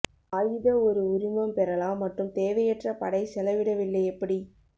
ஆயுத ஒரு உரிமம் பெறலாம் மற்றும் தேவையற்ற படை செலவிடவில்லை எப்படி